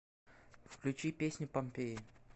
включи песню помпеи